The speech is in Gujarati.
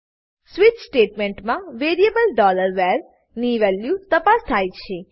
સ્વીચ સ્ટેટમેંટમાં વેરીએબલ var ની વેલ્યુ તપાસ થાય છે